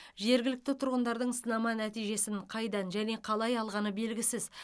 жергілікті тұрғындардың сынама нәтижесін қайдан және қалай алғаны белгісіз